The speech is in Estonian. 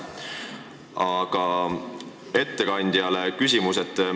Aga küsimus ettekandjale.